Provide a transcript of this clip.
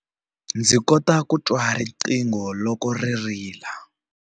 Ndzi kota ku twa riqingho loko ri rila.